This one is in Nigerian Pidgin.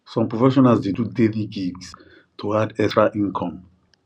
some professionals dey do daily gigs to add extra income